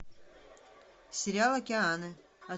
сериал океаны